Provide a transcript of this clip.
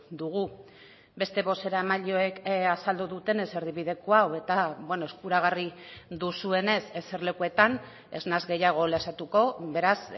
dugu beste bozeramaileek azaldu dutenez erdibideko hau eta eskuragarri duzuenez eserlekuetan ez naiz gehiago luzatuko beraz